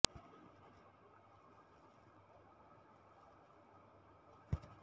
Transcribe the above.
ತನ್ನ ಕುಲದ ಬೆಳಕು ಇಂದು ಪ್ರಜ್ವಲಿಸುತ್ತದೆ ಎಂದು ಸೂರ್ಯ ಆಗ ತಾನೆ ಹುಟ್ಟಿ ಬೆಟ್ಟದ ಮೇಲೆ ನಿಂತು ನೋಡುತ್ತಿದ್ದಾನೆ